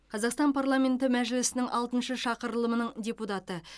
қазақстан парламенті мәжілісінің алтыншы шақырылымының депутаты